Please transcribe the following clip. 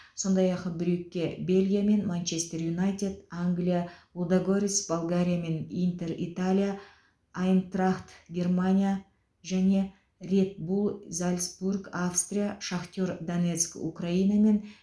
сондай ақ брюгге бельгия мен манчестер юнайтед англия лудогорец болгария мен интер италия айнтрахт германия және ред булл зальцбург австрия шахтер донецк украина мен